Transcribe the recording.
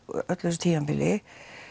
öllu þessu tímabili